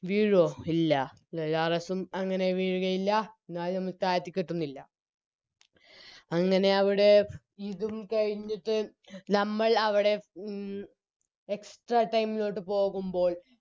വീഴോ ഇല്ല ഹ്യൂഗോലോറിസ്സും അങ്ങനെ വീഴുകയില്ല ഞാനും താഴ്ത്തികെട്ടുന്നില്ല അങ്ങനെ അവിടെ ഇതും കഴിഞ്ഞിട്ട് നമ്മൾ അവിടെ ഉം Extra time ലോട്ട് പോകുമ്പോൾ